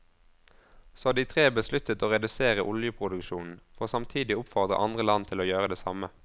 Så de tre besluttet å redusere oljeproduksjonen, for samtidig å oppfordre andre land til å gjøre det samme.